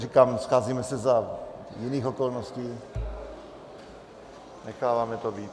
Říkám, scházíme se za jiných okolností, necháváme to být.